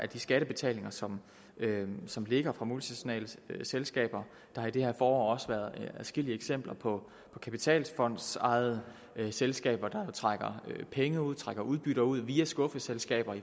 de skattebetalinger som som ligger fra multinationale selskaber der har i det her forår også været adskillige eksempler på kapitalfondsejede selskaber der trækker penge ud trækker udbytter ud via skuffeselskaber i